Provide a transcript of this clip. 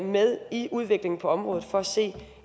med i udviklingen på området for at se